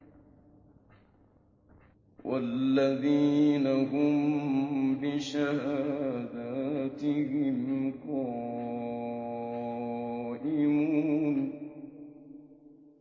وَالَّذِينَ هُم بِشَهَادَاتِهِمْ قَائِمُونَ